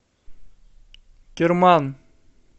керман